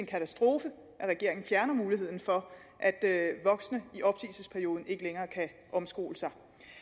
katastrofe at regeringen fjerner muligheden for at voksne kan omskole sig